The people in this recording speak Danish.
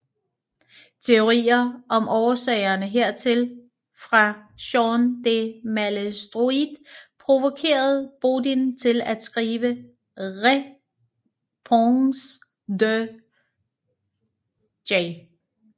Teorier om årsagerne hertil fra Jean de Malestroit provokerede Bodin til at skrive Réponse de J